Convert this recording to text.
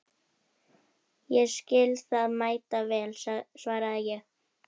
Ég skil það mæta vel, svaraði ég.